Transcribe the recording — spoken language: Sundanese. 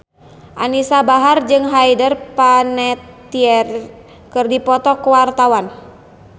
Anisa Bahar jeung Hayden Panettiere keur dipoto ku wartawan